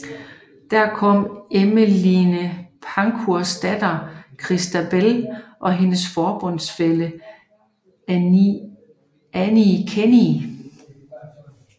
Der kom Emmeline Pankhursts datter Christabel og hendes forbundsfælle Annie Kenney